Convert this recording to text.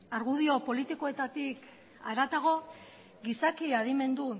argudio politikoetatik haratago gizaki adimendu